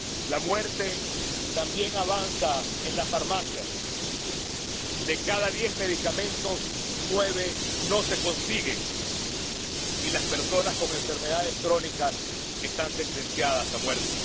La muerte también avanza en las farmacias de cada diez medicamentos nueve no se consiguen y las personas con enfermedades crónicas están sentenciadas a muerte.